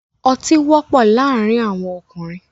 Ọtí wọ́pọ̀ laárìn awọn ọkùnrin